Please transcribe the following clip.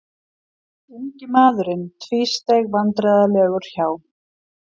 Ungi maðurinn tvísteig vandræðalegur hjá.